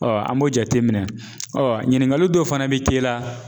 an b'o jateminɛ, ɲiningali dɔw fana bɛ k'e la